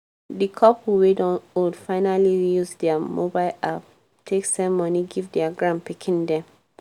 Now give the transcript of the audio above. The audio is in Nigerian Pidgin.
di couple wey don old finally use dia mobile app take send moni give dia granpikin dem